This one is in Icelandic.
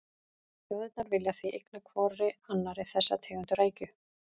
Þjóðirnar vilja því eigna hvorri annarri þessa tegund rækju.